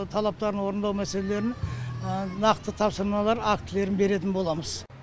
талаптарын орындау мәселелерін нақты тапсырмалар актілерін беретін боламыз